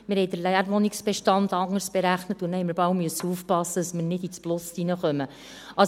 Wir berechneten den Leerwohnungsbestand anders und mussten aufpassen, nicht plötzlich ins Plus zu geraten.